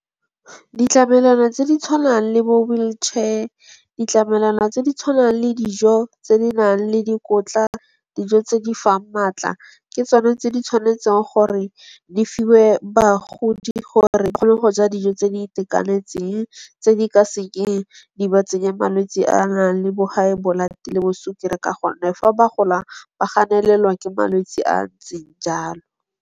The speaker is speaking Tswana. Ditlamelwana tse di tshwanang le bo wheelchair. Ditlamelwana tse di tshwanang le dijo tse di nang le dikotla, dijo tse di fang maatla. Ke tsone tse di tshwanetseng gore di fiwe bagodi gore gone go ja dijo tse di itekanetseng, tse di ka sekeng di ba tsenya malwetse a a nang le bo high blood le bo swekere ka gone. Fa ba gola ba ganelelwa ke malwetsi a a ntseng jalo.